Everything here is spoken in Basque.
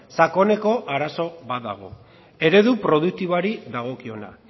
sakoneko arazo bat dago eredu produktiboari dagokiona